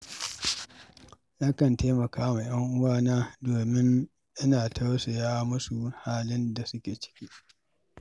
Nakan taimaka wa 'yan uwana, domin ina tausaya musu halin da suke ciki.